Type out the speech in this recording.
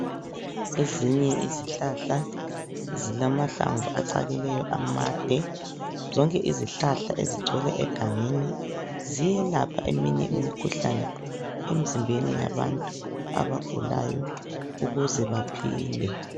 Ezinye izihlahla zilamahlamvu acakileyo amade. Zonke izihlahla ezigcwele egangeni ziyelapha eminye imikhuhlane emizimbeni yabantu abagulayo ukuze baphile.